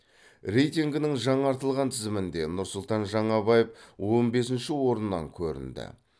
рейтингінің жаңартылған тізімінде нұрсұлтан жаңабаев он бесінші орыннан көрінді